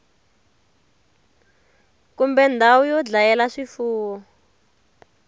kumbe ndhawu yo dlayela swifuwo